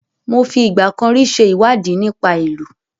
Mo fi ìgbà kan rí ṣe ìwádìí nípa ìlù.